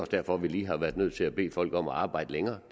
derfor vi lige har været nødt til at bede folk om at arbejde længere